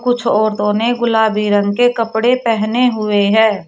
कुछऔरतों ने गुलाबी रंग के कपड़े पहने हुए है।